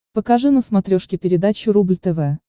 покажи на смотрешке передачу рубль тв